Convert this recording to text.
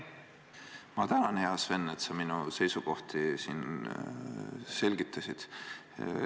Ma tänan, hea Sven, et sa minu seisukohti selgitasid.